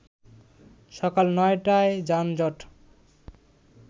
সকাল ৯ টায় যানজট